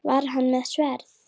Var hann með sverð?